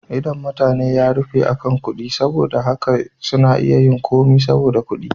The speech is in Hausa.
Idon mutane ya rufe akan kuɗi, saboda haka suna iya yin komai saboda kuɗi.